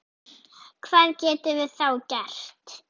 Hvað getum við þá gert?